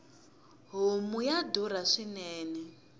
homu ya durha swinene